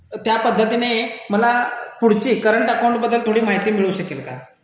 त्या पद्धतीने मला पुढची करंट अकाउंट बद्दल माहिती मिळू शकेल का?